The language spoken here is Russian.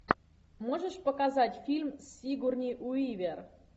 можешь показать фильм с сигурни уивер